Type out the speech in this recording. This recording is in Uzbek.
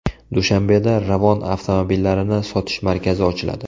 Dushanbeda Ravon avtomobillarini sotish markazi ochiladi.